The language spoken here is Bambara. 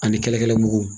Ani kɛlɛkɛla mugu